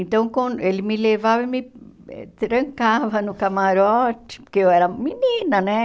Então, com ele me levava e me trancava no camarote, porque eu era menina, né?